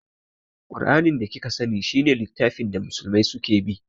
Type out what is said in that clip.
Ƙur'anin da kika sani shi ne littafin da musulmai su ke bi